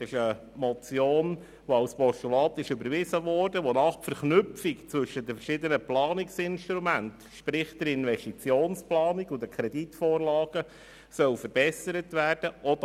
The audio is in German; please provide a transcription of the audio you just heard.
Es handelt sich um eine Motion, die als Postulat überwiesen wurde, wonach die Verknüpfung zwischen den verschiedenen Planungsinstrumenten, sprich der Investitionsplanung und den Kreditvorlagen, verbessert werden soll.